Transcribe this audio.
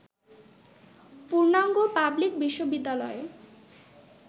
পূর্ণাঙ্গ পাবলিক বিশ্ববিদ্যালয়ে